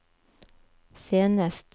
senest